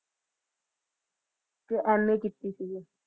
M. A ਕੀਤੀ ਸੀਗੀ